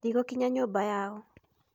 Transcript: Ndigũkinya nyũmba yao.